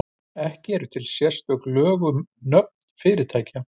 Ekki eru til sérstök lög um nöfn fyrirtækja.